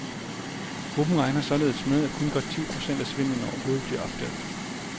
Gruppen regner således med, at kun godt ti procent af svindlen overhovedet bliver opdaget.